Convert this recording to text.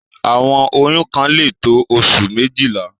Àwọn oyún kan lè tó oṣù méjìlá.